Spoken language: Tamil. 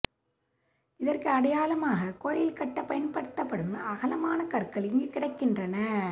இதற்கு அடையாளமாக கோயில் கட்ட பயன்படுத்தப்படும் அகலமான கற்கள் இங்கு கிடக்கின்றன